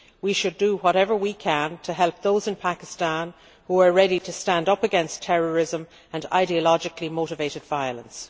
We should do whatever we can to help those in Pakistan who are ready to stand up against terrorism and ideologically motivated violence.